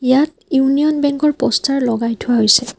ইয়াত ইউনিয়ন বেঙ্কৰ প'ষ্টৰ লগাই থোৱা হৈছে।